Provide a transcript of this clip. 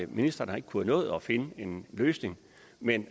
ministeren har ikke kunnet nå at finde en løsning men